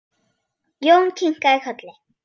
Jón kinkaði kolli.